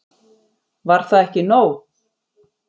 Var það ekki nóg?